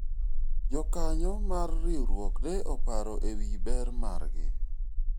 jokanyo mar riwruok ne oparo ewi ber margi